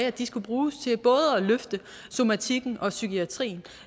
at de skulle bruges til både at løfte somatikken og psykiatrien